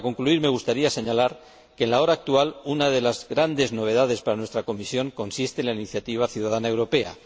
Para concluir me gustaría señalar que, en la hora actual, una de las grandes novedades para nuestra comisión consiste en la iniciativa ciudadana europea.